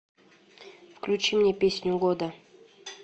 включи мне песню года